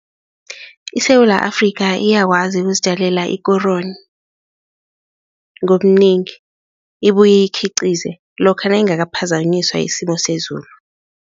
ISewula Afrika iyakwazi ukuzitjalela ikoroni ngobunengi ibuye iyikhiqize lokha nayingakaphazanyiswa yisimo sezulu.